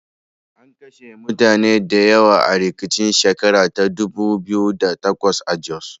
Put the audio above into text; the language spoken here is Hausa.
An kashe mutane da yawa a rikicin shekar ta dubu biyu da takwas a Jos.